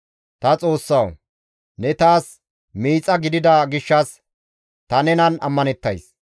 Ta Xoossawu! Ne taas miixa gidida gishshas ta nenan ammanettays.